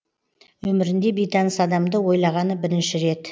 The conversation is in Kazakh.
өмірінде бейтаныс адамды ойлағаны бірінші рет